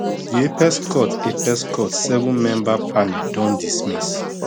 di apex court apex court sevenmember panel don dismiss